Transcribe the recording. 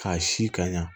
K'a si ka ɲɛ